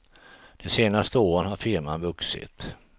De senaste åren har firman vuxit.